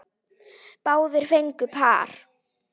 Báðir fengu par.